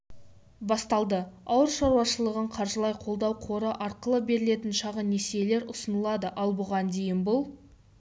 басталды ауыл шаруашылығын қаржылай қолдау қоры арқылы берілетін шағын несиелер ұсынылады ал бұған дейін бұл